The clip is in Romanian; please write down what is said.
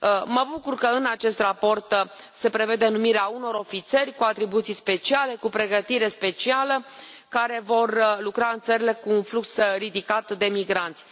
Mă bucur că în acest raport se prevede numirea unor ofițeri cu atribuții speciale, cu pregătire specială, care vor lucra în țările cu un flux ridicat de migranți.